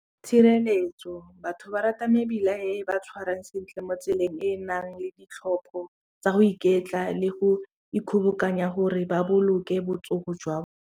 Tshireletso batho ba rata mebila e ba tshwarang sentle mo tseleng e nang le ditlhopho tsa go iketla le go ikgobokanya gore ba boloke botsogo jwa.